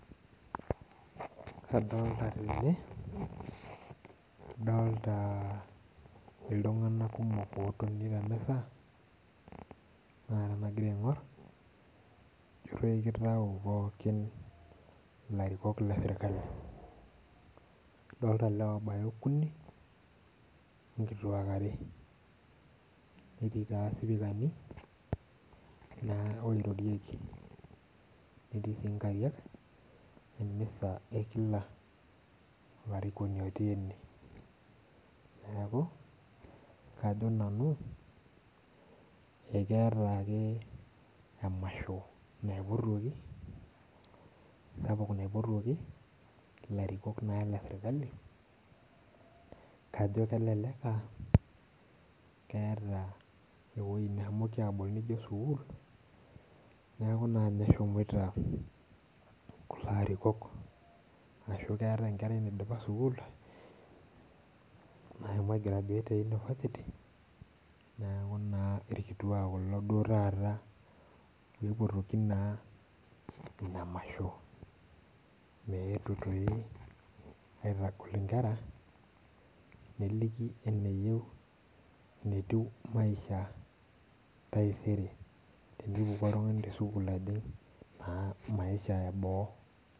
Adolta tenebadolta ltunganak kumok otoni temisa na ore tanagira aingor na kitau pookin ilarikok leserkali adolta lewa obaya okuni onkitiak uni netii sipikani na oirorieki na nerii si nkarak emisa okila arikoni neaku kajo nanu akeetabake emasho naipuotoki larikok leserkali kajo kelekaat keeta ewoi neshomoiki abol nijo sukul neaku ninye eshomoita abol atashu keetae enkerai naidipa sukul nashomo aigrauate etaa ipotjoki naabinamasho mwwtu aitagol nkwra neliki enetii enkusuma na etaisere.